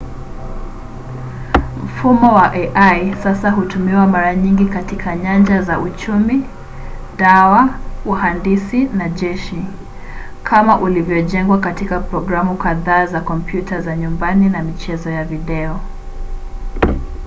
mfumo wa ai sasa hutumiwa mara nyingi katika nyanja za uchumi dawa uhandisi na jeshi kama ulivyojengwa katika programu kadhaa za kompyuta za nyumbani na michezo ya video